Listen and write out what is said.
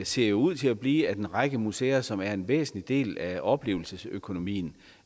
ser ud til at blive at en række museer som er en væsentlig del af oplevelsesøkonomien